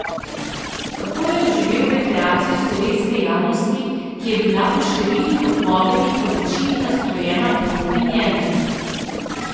Kako je doživel reakcijo slovenske javnosti, ki je bila po številnih odpovedih v večini nastrojena proti njemu?